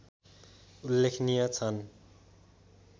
उल्लेखनीय छन्